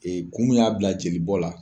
Ee kun mun y'a bila jeli bɔn la